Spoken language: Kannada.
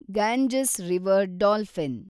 Ganges river dolphin